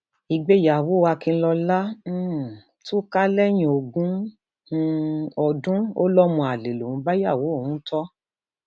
ìgbéyàwó akinlọlá um tú ká lẹyìn ogún um ọdún ó lọmọ àlè lòun ń bá ìyàwó òun tó